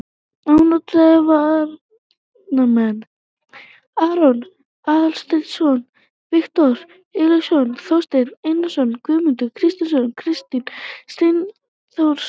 Ónotaðir varamenn: Arnór Aðalsteinsson, Viktor Illugason, Þorsteinn Einarsson, Guðmundur Kristjánsson, Kristinn Steindórsson.